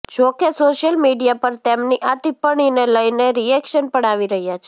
જો કે social media પર તેમની આ ટિપ્પણીને લઇને રિએક્શન પણ આવી રહ્યાં છે